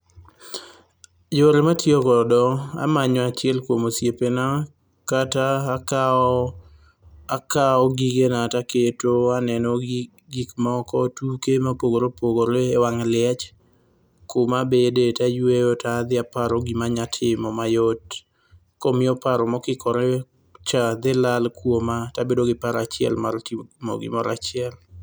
Yore matiyo godo, amanyo achiel kuom osiepena, kata akawo akawo gigena taketo aneno gik moko tuke mopogore opogore ewang' liech, kuma bede tayueyo taparo gima anyalo timo mayot. Koro miyo paro mokikorecha dhi lal kuoma, tabedo gi paro achiel mar timo gimoro achiel.